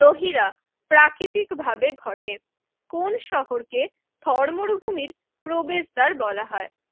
রহিরা প্রাকৃতিকভাবে ঘটে কোন শহরকে থর মরুভূমির প্রবেশদ্বার বলা হয়?